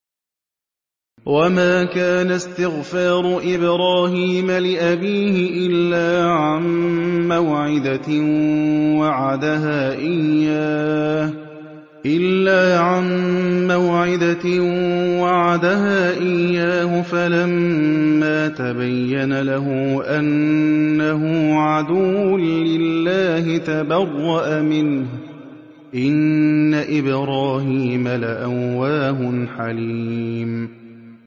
وَمَا كَانَ اسْتِغْفَارُ إِبْرَاهِيمَ لِأَبِيهِ إِلَّا عَن مَّوْعِدَةٍ وَعَدَهَا إِيَّاهُ فَلَمَّا تَبَيَّنَ لَهُ أَنَّهُ عَدُوٌّ لِّلَّهِ تَبَرَّأَ مِنْهُ ۚ إِنَّ إِبْرَاهِيمَ لَأَوَّاهٌ حَلِيمٌ